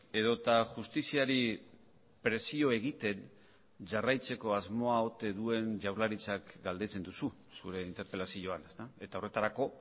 edota justiziari presio egiten jarraitzeko asmoa ote duen jaurlaritzak galdetzen duzu zure interpelazioan eta horretarako